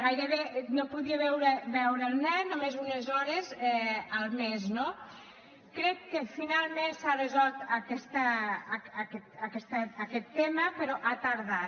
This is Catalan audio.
gairebé no podia veure el nen només unes hores el mes no crec que finalment s’ha resolt aquest tema però ha tardat